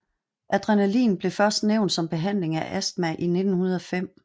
Adrenalin blev først nævnt som behandling af astma i 1905